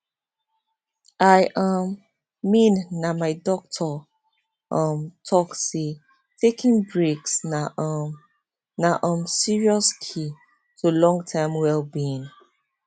i um mean na my doctor um talk say taking breaks na um na um serious key to long term well being